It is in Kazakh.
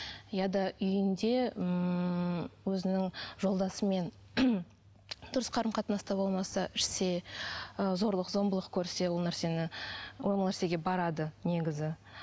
ұяда үйінде ммм өзінің жолдасымен дұрыс қарым қатынаста болмаса ішсе ы зорлық зомбылық көрсе ол нәрсені ол нәрсеге барады негізі